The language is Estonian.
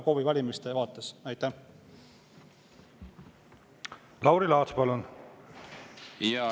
Lauri Laats, palun!